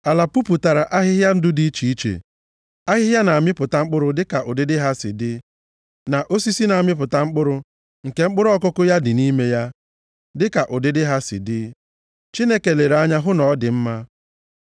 Ala puputara ahịhịa ndụ dị iche iche: ahịhịa na-amịpụta mkpụrụ dịka ụdịdị ha si dị, na osisi na-amịpụta mkpụrụ, nke mkpụrụ ọkụkụ ya dị nʼime ya, dịka ụdịdị ha si dị. Chineke lere anya hụ na ọ dị mma.